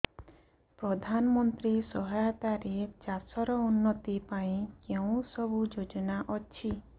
ପ୍ରଧାନମନ୍ତ୍ରୀ ସହାୟତା ରେ ଚାଷ ର ଉନ୍ନତି ପାଇଁ କେଉଁ ସବୁ ଯୋଜନା ଅଛି